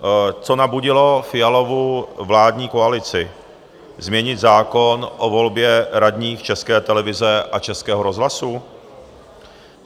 Co nabudilo Fialovu vládní koalici změnit zákon o volbě radních České televize a Českého rozhlasu?